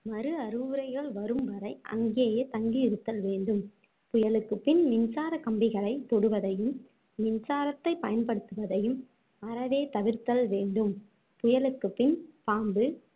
மறு அறிவுரைகள் வரும் வரை அங்கேயே தங்கி இருத்தல் வேண்டும் புயலுக்குப்பின் மின்சார கம்பிகளைத் தொடுவதையும் மின்சாரத்தை பயன்படுத்துவதையும் அறவே தவிர்த்தல் வேண்டும் புயலுக்குப்பின் பாம்பு